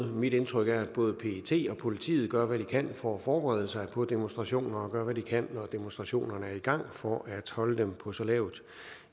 mit indtryk er at både pet og politiet gør hvad de kan for at forberede sig på demonstrationer og at de gør hvad de kan når demonstrationerne er i gang for at holde dem på så lavt